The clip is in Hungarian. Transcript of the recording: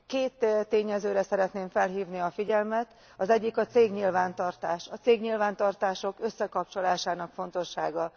Két tényezőre szeretném felhívni a figyelmet az egyik a cégnyilvántartás, a cégnyilvántartások összekapcsolásának fontossága.